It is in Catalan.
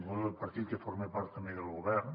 bé del partit que forma part també del govern